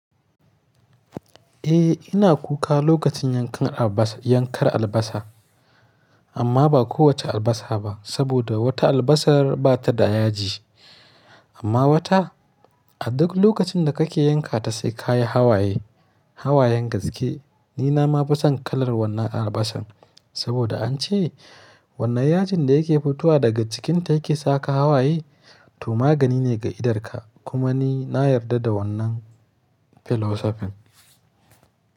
Eh ina kuka lokacin yankan albasa, yankar albasa amma ba kowace albasa ba. Saboda wata albasa bata da yaji amma wata a duk lokacin da kake yanka ta sai ka yi hawaye, hawayen gaske. Ni na ma fi son kalar wannan albasar saboda an ce wannan yajin da yake fitowa daga cikinta yake saka hawaye to magani ne ga idarka. Kuma ni na yarda da wannan philosophy.